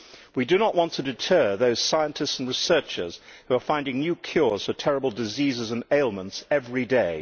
We do not want to deter those scientists and researchers who are finding new cures for terrible diseases and ailments every day.